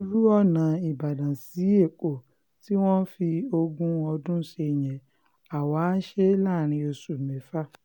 irú ọ̀nà ìbàdàn sí ẹ̀kọ́ tí wọ́n fi ogún ọdún ṣe yẹn àwa a á ṣe é láàrin oṣù mẹ́fà